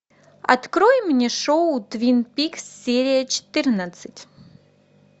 открой мне шоу твин пикс серия четырнадцать